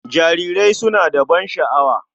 Jarirai suna da ban sha'awa.